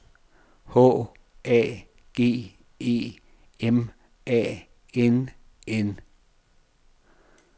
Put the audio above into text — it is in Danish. H A G E M A N N